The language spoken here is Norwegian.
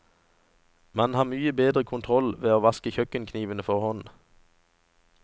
Man har mye bedre kontroll ved å vaske kjøkkenknivene for hånd.